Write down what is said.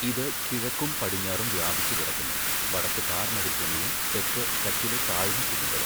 ഇത് കിഴക്കും പടിഞ്ഞാറും വ്യാപിച്ചുകിടക്കുന്നു, വടക്ക് താർ മരുഭൂമിയും തെക്ക് കച്ചിലെ താഴ്ന്ന കുന്നുകളും.